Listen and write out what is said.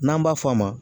N'an b'a fɔ a ma